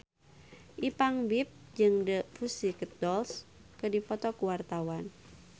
Ipank BIP jeung The Pussycat Dolls keur dipoto ku wartawan